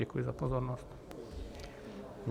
Děkuji za pozornost.